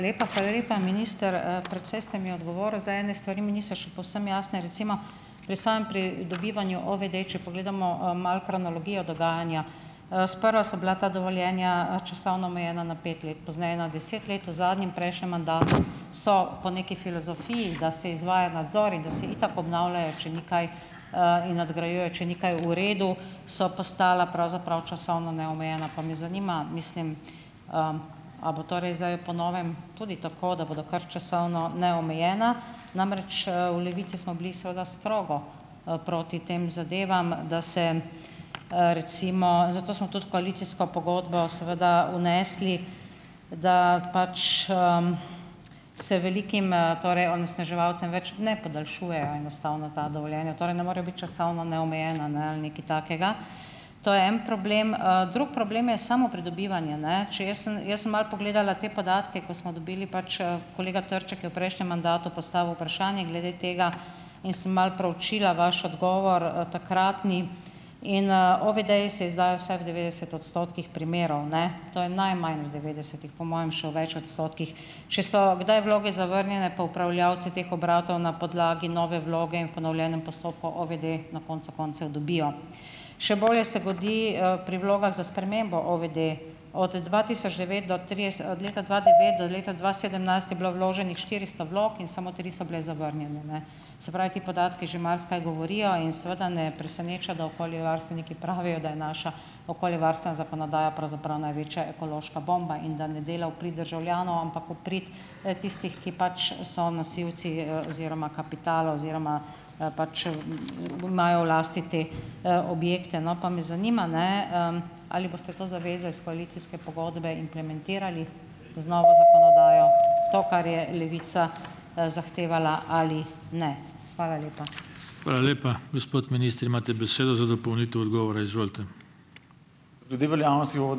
... lepa. Hvala lepa, minister. Precej ste mi odgovoril. Zdaj ene stvari mi niso še povsem jasne. Recimo, pri pri dobivanju OVD, če pogledamo, malo kronologijo dogajanja. Sprva so bila ta dovoljenja, časovno omejena na pet let, pozneje na deset let, v zadnjem prejšnjem mandatu, so, po neki filozofiji, da se izvaja nadzor in da se itak obnavljajo, če ni kaj, in nadgrajujejo, če ni kaj v redu, so postala pravzaprav časovno neomejena. Pa me zanima, mislim, a bo to res zdaj po novem tudi tako, da bodo kar časovno neomejena. Namreč, v Levici smo bili seveda strogo, proti tem zadevam. Da se, recimo ... Zato smo tudi v koalicijsko pogodbo seveda vnesli, da pač, se velikim, torej onesnaževalcem več ne podaljšujejo enostavna ta dovoljenja. Torej ne morejo biti časovno neomejena, ne, ali nekaj takega. To je en problem, Drug problem je samo pridobivanje, ne. Še jaz sem, jaz sem malo pogledala te podatke, ko smo dobili, pač, Kolega Trček je v prejšnjem mandatu postavil vprašanje glede tega in sem malo preučila vaš odgovor, takratni. In, OVD-ji se izdajajo vsaj v devetdeset odstotkih primerov, ne. To je najmanj, v devetdesetih, po mojem še v več odstotkih. Če so kdaj vloge zavrnjene, pa upravljavci teh obratov na podlagi nove vloge in v ponovljenem postopku OVD, na koncu koncev, dobijo. Še bolje se godi, pri vlogah za spremembo OVD. Od dva tisoč devet do trideset od leta dva devet do dva sedemnajst je bilo vloženih štiristo vlog in samo tri so bile zavrnjene, ne. Se pravi, ti podatki že marsikaj govorijo in seveda ne preseneča, da okoljevarstveniki pravijo, da je naša okoljevarstvena zakonodaja pravzaprav največja ekološka bomba in da ne dela v pridi državljanom, ampak v prid, tistih, ki pač so nosilci, oziroma kapitala oziroma pač, imajo v lasti te, objekte, no. Pa me zanima, ne, ali boste to zavezo iz koalicijske pogodbe implementirali z novo zakonodajo, to, kar je Levica, zahtevala, ali ne. Hvala lepa.